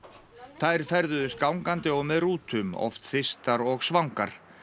þær ferðuðust gangandi og með rútum oft þyrstar og svangar